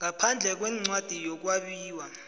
ngaphandle kwencwadi yokwabiwa